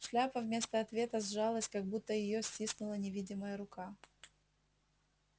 шляпа вместо ответа сжалась как будто её стиснула невидимая рука